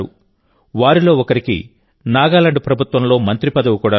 వారిలో ఒకరికి నాగాలాండ్ ప్రభుత్వంలో మంత్రి పదవి కూడా లభించింది